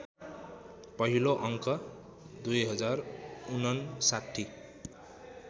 पहिलो अङ्क २०५९